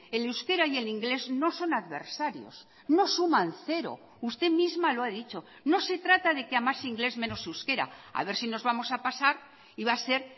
el euskera y el inglés no son adversarios no suman cero usted misma lo ha dicho no se trata de que a más inglés menos euskera a ver si nos vamos a pasar y va a ser